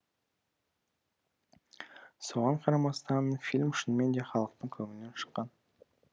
соған қарамастан фильм шынымен де халықтың көңілінен шыққан